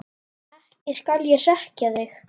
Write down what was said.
Ekki skal ég hrekkja þig.